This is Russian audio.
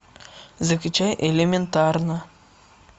закачай элементарно